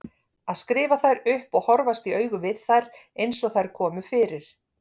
Að skrifa þær upp og horfast í augu við þær eins og þær komu fyrir.